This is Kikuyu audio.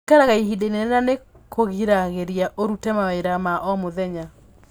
Gũikaraga ihinda inene na nĩ kũgiragĩrĩria ũrute mawĩra ma omũthenya .